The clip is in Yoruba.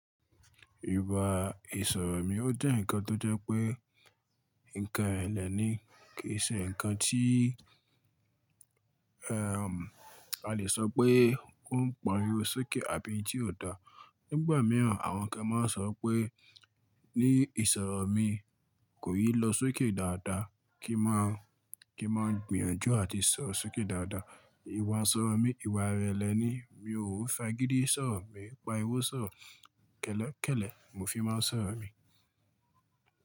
Ìwà ìsọ̀rọ̀ mí ó jẹ́ ǹkan tó jẹ́ pé ǹkan ẹlẹ́ni kì í ṣe ǹkan tí, ẹm, a lè sọ pé ó ń pariwo sókè àbí ǹ tí ò dáa. Nígbà mìíràn àwọn kan máa ń sọ pé ní ìsọ̀rọ̀ mí kò yìí lọ sókè dáadáa kí má, kí má gbìyànjú àti sọ sókè dáadáa. Ìwà ìsọ̀rọ̀ mí, ìwà rẹ̀ ẹlẹ́ni, mi ò fa gidi sọ̀rọ̀ mí, pa iwọ̀ sọ̀rọ̀ kẹ́lẹ́kẹ́lẹ̀ mo fi máa ń sọ̀rọ̀ mí.